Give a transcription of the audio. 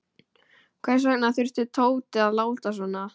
Hvers vegna þurfti Tóti að láta svona.